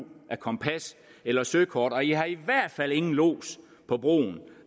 af kompas eller søkort og i har i hvert fald ingen lods på broen